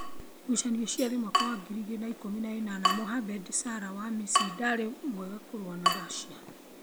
Gucanio cia thi 2018: Mohamed Salah wa Misiri ndari mwega kũrũa na Russia